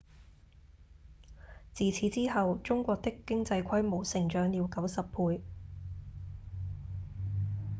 自此之後中國的經濟規模成長了90倍